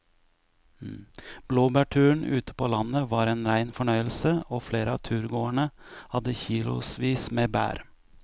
Blåbærturen ute på landet var en rein fornøyelse og flere av turgåerene hadde kilosvis med bær.